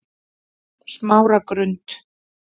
Smáragrund